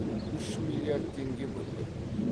үш миллиард теңге бөлдік